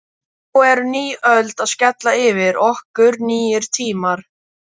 Nú er ný öld að skella yfir okkur, nýir tímar.